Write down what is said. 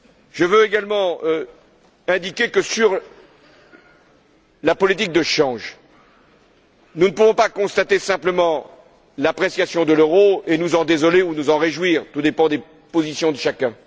Je veux également indiquer que, concernant la politique de change, nous ne pouvons pas constater simplement l'appréciation de l'euro et nous en désoler ou nous en réjouir, en fonction des positions de chacun.